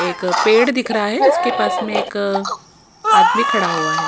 एक पेड़ दिख रहा है उसके पास में एक आदमी खड़ा हुआ है।